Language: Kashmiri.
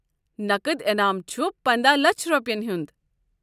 نقد انعام چھ پندہَ لچھ رۄپیین ہُنٛد۔